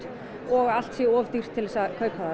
og allt sé orðið of dýrt til að kaupa